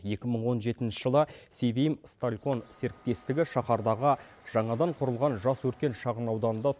екі мың он жетінші жылы севимсталькон серіктестігі шахардағы жаңадан құрылған жасөркен шағын ауданында